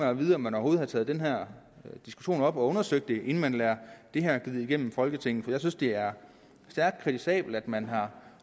at vide om man overhovedet har taget den her diskussion op og undersøgt det inden man lader det her glide igennem folketinget for jeg synes det er stærkt kritisabelt at man har